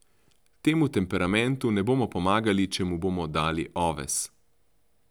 Temu temperamentu ne bomo pomagali, če mu bomo dali oves.